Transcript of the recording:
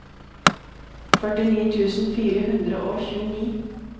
førtini tusen fire hundre og tjueni